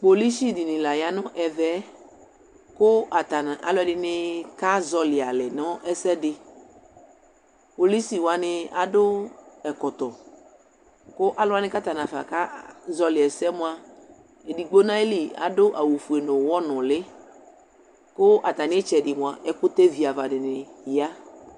polisi dini la yanʋ ɛƒɛ kʋ atani nʋ alʋɛdini azɔli alɛ nʋ ɛsɛdi, polisi wani adʋ ɛkɔtɔ kʋ alʋ wani kʋ atani naƒa ka zɔli ɛsɛ mʋa ɛdigbɔ nʋ ali adʋ awʋ ƒʋɛ nʋ ʋwɔ nʋli kʋ atani itsɛdi mʋa ɛkʋtɛ vi aɣa dini ya